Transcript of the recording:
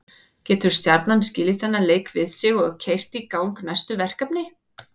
Getur Stjarnan skilið þennan leik við sig og keyrt í gang næstu verkefni?